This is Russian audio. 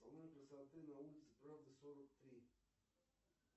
салон красоты на улице правды сорок три